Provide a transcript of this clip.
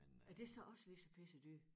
Er det så også lige så pissedyrt?